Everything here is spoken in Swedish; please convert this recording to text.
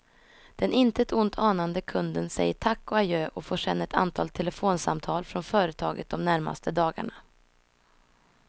Den intet ont anande kunden säger tack och adjö och får sedan ett antal telefonsamtal från företaget de närmaste dagarna.